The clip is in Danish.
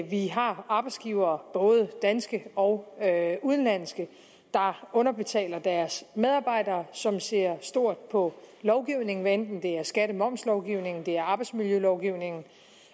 vi har arbejdsgivere både danske og udenlandske der underbetaler deres medarbejdere som ser stort på lovgivningen hvad enten det er skatte og momslovgivningen eller det er arbejdsmiljølovgivningen